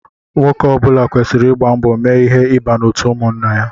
Nwoke ọbula kwesịrị ịgba mbọ mee ihe ịba n'otu ụmụnna ya.